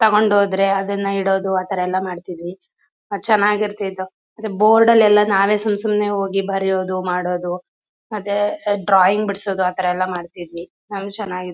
ತೊಗೊಂಡ್ ಹೋದ್ರೆ ಅದನ್ನ ಇಡದು ಅಥರ ಎಲ್ಲ ಮಾಡ್ತಿದ್ವಿ. ಚನಾಗಿರ್ತಿತ್ತು. ಮತ್ತೆ ಬೋರ್ಡ್ ಅಲ್ಲೆಲ್ಲ ನಾವೇ ಸುಂಸುಮ್ನೆ ಹೋಗಿ ಬರಿಯದು ಮಾಡದು. ಮತ್ತೆ ಡ್ರಾಯಿಂಗ್ ಬಿಡ್ಸದು ಆಥರ ಎಲ್ಲ ಮಾಡ್ತಿದ್ವಿ ನಾವು ಚನಾಗ್--